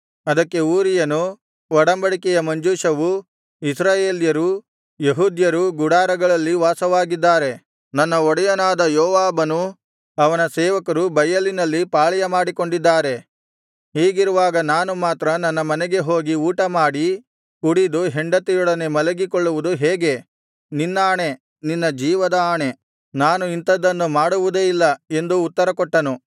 ಅದಕ್ಕೆ ಊರೀಯನು ಒಡಂಬಡಿಕೆಯ ಮಂಜೂಷವೂ ಇಸ್ರಾಯೇಲ್ಯರೂ ಯೆಹೂದ್ಯರೂ ಗುಡಾರಗಳಲ್ಲಿ ವಾಸವಾಗಿದ್ದಾರೆ ನನ್ನ ಒಡೆಯನಾದ ಯೋವಾಬನೂ ಅವನ ಸೇವಕರೂ ಬಯಲಿನಲ್ಲಿ ಪಾಳೆಯಮಾಡಿಕೊಂಡಿದ್ದಾರೆ ಹೀಗಿರುವಾಗ ನಾನು ಮಾತ್ರ ನನ್ನ ಮನೆಗೆ ಹೋಗಿ ಊಟಮಾಡಿ ಕುಡಿದು ಹೆಂಡತಿಯೊಡನೆ ಮಲಗಿಕೊಳ್ಳುವುದು ಹೇಗೆ ನಿನ್ನಾಣೆ ನಿನ್ನ ಜೀವದ ಆಣೆ ನಾನು ಇಂಥದ್ದನ್ನು ಮಾಡುವುದೇ ಇಲ್ಲ ಎಂದು ಉತ್ತರಕೊಟ್ಟನು